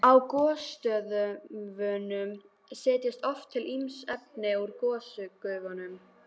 Á gosstöðvunum setjast oft til ýmis efni úr gosgufunum.